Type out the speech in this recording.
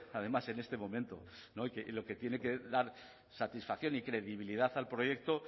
además en este momento y lo que tiene que dar satisfacción y credibilidad al proyecto